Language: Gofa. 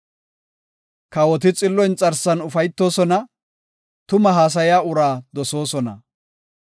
Kawoti xillo inxarsan ufaytoosona; tumaa haasaya uraa dosoosona.